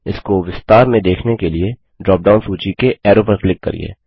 इसको विस्तार में देखने के लिए ड्रॉपडाउन सूची के एरो पर क्लिक करिये